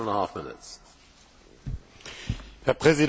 Herr Präsident, Herr Kommissar, liebe Kolleginnen und Kollegen!